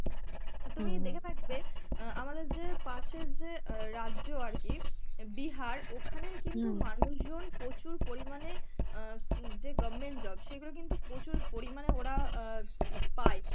তুমি দেখে থাকবে অ্যাঁ আমাদের যে পাশের যে অ্যাঁ রাজ্য আরকি বিহার, ওখানের কিন্তু মানুষজন প্রচুর পরিমানে অ্যাঁ যে government job সেগুলো কিন্তু প্রচুর পরিমানে ওরা অ্যাঁ পায়.